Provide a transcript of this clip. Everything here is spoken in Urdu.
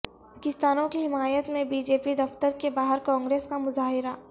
کسانوں کی حمایت میں بی جے پی دفتر کے باہر کانگریس کا مظاہرہ